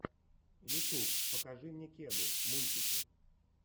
ютуб покажи мне кеду мультики